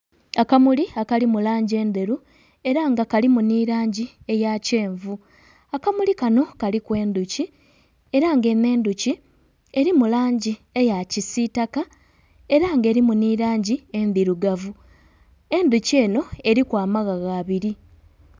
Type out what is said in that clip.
Akamuli akali mu langi endheru era nga kalimu nhi langi eya kyenvu, akamuli kanho kaliku endhuki era nga enho endhuki erimu langi eya kisitaka era nga erimu nhi langi endhirugavu, endhoki enho eriku amaghagha abiri.